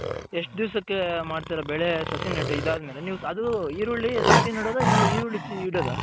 ಎಷ್ಟ್ ದಿಸಕ್ಕೆ ಮಾಡ್ತಿರ ಬೆಳೆ ಸಸಿ ಇದಾದಮೇಲೆ ನೀವ್ ಸಸಿ ಅದು ಈರುಳ್ಳಿ ಸಸಿ ನೆಡೋದ ಇಲ್ಲ ಈರುಳ್ಳಿ ಇಡೋದ.